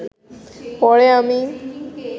পরে আমি